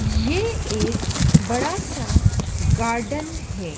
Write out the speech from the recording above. ये एक बड़ा सा गार्डन है।